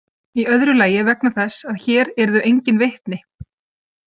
Í öðru lagi vegna þess að hér yrðu engin vitni.